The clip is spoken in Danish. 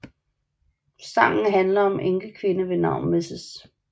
Sangen handler om en enkekvinde ved navn Mrs